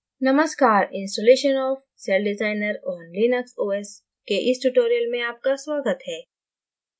नमस्कार installation of celldesigner on linux os के इस tutorial में आपका स्वागत है